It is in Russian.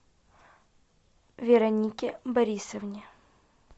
веронике борисовне